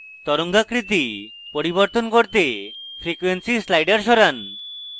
তরঙ্গাকৃতি পরিবর্তন করতে frequency slider সরান